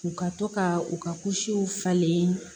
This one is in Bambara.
U ka to ka u ka falen